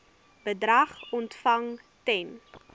bedrag ontvang ten